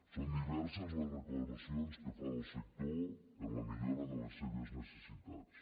són diverses les reclamacions que fa el sector en la millora de les seves necessitats